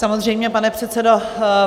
Samozřejmě, pane předsedo.